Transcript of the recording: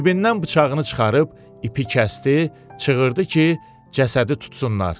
Cibindən bıçağını çıxarıb ipi kəsdi, çığırdı ki, cəsədi tutsunlar.